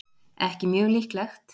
ekki mjög líklegt